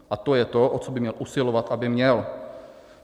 A to je to, o co by měl usilovat, aby měl.